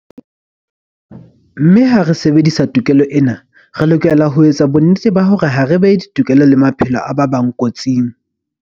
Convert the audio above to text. Mme ha re sebedisa tokelo ena, re lokela ho etsa bonnete ba hore ha re behe ditokelo le maphelo a ba bang kotsing.